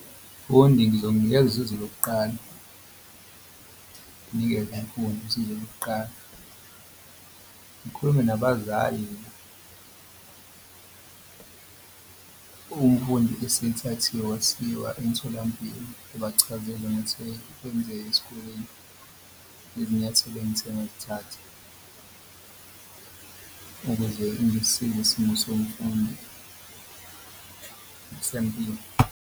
Umfundi ngizomnikeza usizo lokuqala, nginikeze umfundi usizo lokuqala ngikhulume nabazali umfundi esethathiwe wasiwa emtholampilo. Ngibachazele kwenzeke esikoleni nezinyathelo engithe ngakuthatha ukuze isimo somfundi sempilo.